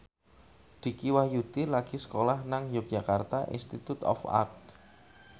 Dicky Wahyudi lagi sekolah nang Yogyakarta Institute of Art